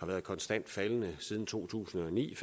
været konstant faldende siden to tusind og ni